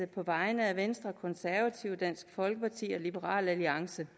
på vegne af venstre konservative dansk folkeparti og liberal alliance